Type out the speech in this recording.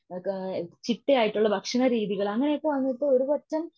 ങ്ങ കാ ചിട്ടയായിട്ടുള്ള ഭക്ഷണ രീതികൾ അങ്ങനെയൊക്കെ വന്നിട്ട് ഒരുപറ്റം